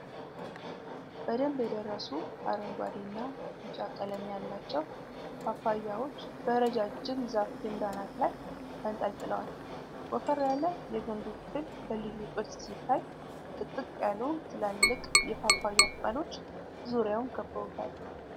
በደንብ የደረሱ አረንጓዴ እና ቢጫ ቀለም ያላቸው ፓፓያዎች በረጃጅም ዛፍ ግንድ አናት ላይ ተንጠልጥለዋል። ወፈር ያለ የግንዱ ክፍል በልዩ ቅርጽ ሲታይ፣ ጥቅጥቅ ያሉ ትላልቅ የፓፓያ ቅጠሎች ዙሪያውን ከበውታል።